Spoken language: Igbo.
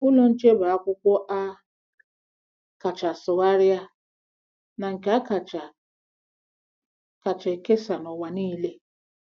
Ụlọ Nche bụ akwụkwọ a kacha sụgharịa na nke a kacha kacha ekesa n'ụwa niile.